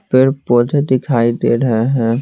पेड़ पौधे दिखाई दे रहे है।